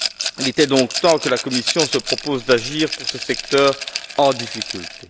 Il était donc temps que la Commission se propose d'agir pour ce secteur en difficulté.